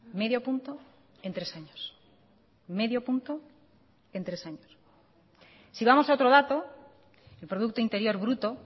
medio punto en tres años medio punto en tres años si vamos a otro dato el producto interior bruto